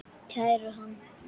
Kærum hann.